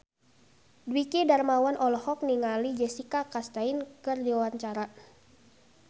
Dwiki Darmawan olohok ningali Jessica Chastain keur diwawancara